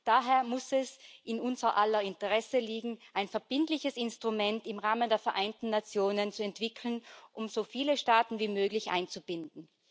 Daher muss es in unser aller Interesse liegen, ein verbindliches Instrument im Rahmen der Vereinten Nationen zu entwickeln, um so viele Staaten wie möglich einzubinden.